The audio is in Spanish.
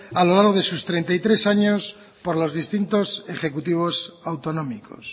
a lo largo de sus treinta y tres años por los distintos ejecutivos autonómicos